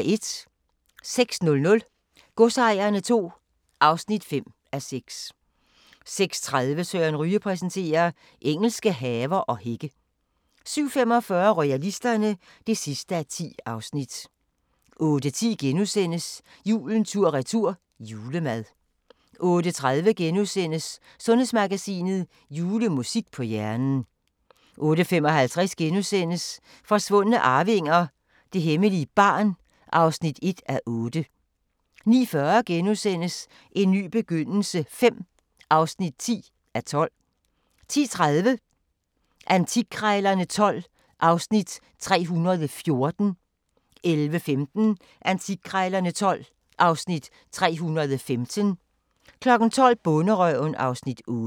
06:00: Godsejerne II (5:6) 06:30: Søren Ryge præsenterer: Engelske haver og hække 07:45: Royalisterne (10:10) 08:10: Julen tur-retur – julemad * 08:30: Sundhedsmagasinet: Julemusik på hjernen * 08:55: Forsvundne arvinger: Det hemmelige barn (1:8)* 09:40: En ny begyndelse V (10:12)* 10:30: Antikkrejlerne XII (Afs. 314) 11:15: Antikkrejlerne XII (Afs. 315) 12:00: Bonderøven (Afs. 8)